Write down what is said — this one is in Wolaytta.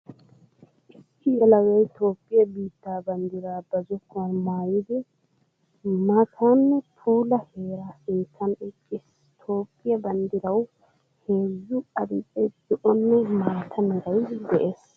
Issi yelagay Toophphiya biitta banddira ba zokkuwan maayiddi maatanne puula heera sinttan eqqiis. Toophphiya banddirawu heezzu adil'ee, zo'onne maata meray de'ees.